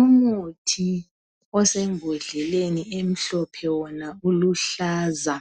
umuthi osembodleleni emhlophe wona uluhlaza